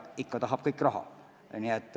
Ikkagi, kõik tahab raha.